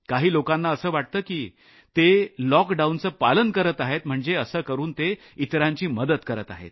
काही लोकांना असं वाटतं की ते लॉकडाऊनचं पालन करत आहेत म्हणजे असं करून ते इतरांची मदत करत आहेत